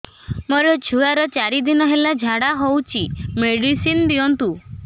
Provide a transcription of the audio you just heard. ମୋର ଛୁଆର ଚାରି ଦିନ ହେଲା ଝାଡା ହଉଚି ମେଡିସିନ ଦିଅନ୍ତୁ